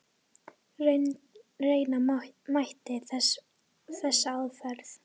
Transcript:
Reyna mætti þessa aðferð.